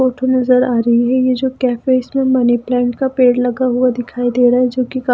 photo नजर आ रही है ये जो कैफे इसमें मनी प्लांट का पेड़ लगा हुआ दिखाई दे रहा है जो कि का--